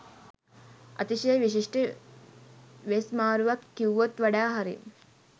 අතිශය විශිෂ්ට වෙස් මාරුවක් කිව්වොත් වඩා හරි